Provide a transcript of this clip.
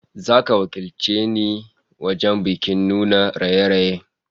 Zaka je ka wakilce ni wajen bikin nuna raye-rayen